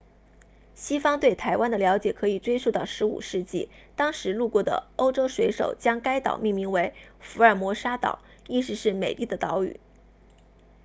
西方对台湾的了解可以追溯到15世纪当时路过的欧洲水手将该岛命名为福尔摩沙岛 ”ilha formosa 意思是美丽的岛屿